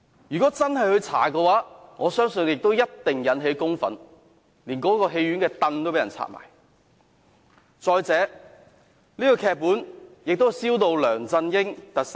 如果真的進行調查，我相信一定會引起公憤，連戲院內的椅子也會被人拆下。